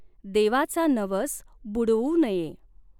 देवाचा नवस बुडवू नये।